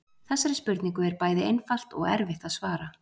Þessari spurningu er bæði einfalt og erfitt að svara.